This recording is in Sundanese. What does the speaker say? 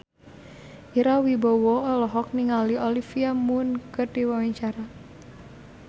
Ira Wibowo olohok ningali Olivia Munn keur diwawancara